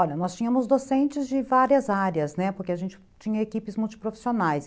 Olha, nós tínhamos docentes de várias áreas, né, porque a gente tinha equipes multiprofissionais.